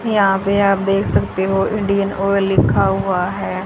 यहां पे आप देख सकते हो इंडियन ऑयल लिखा हुआ है।